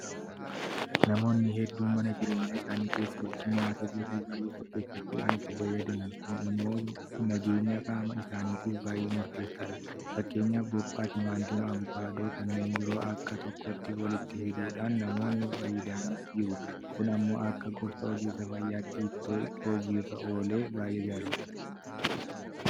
Namoonni hedduun mana jireenyaa isaanii keessatti nyaata gosa baay'ee qopheeffachuudhaan itti fayyadamu. Kun immoo nageenya qaama isaaniitiif baay'ee murteessaadha. Fakkeenyaaf Buuphaa, Timaatimii, Abukaadoofi kanneen biroo bakka tokkotti walitti fiduudhaan namoonni fayyadamanis jiru. Kun immoo akka gorsa ogeessa fayyaatti itoo hojii irra oolee baay'ee gaariidha.